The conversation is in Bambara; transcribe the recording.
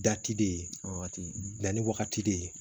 de ye wagati dilanni wagati de ye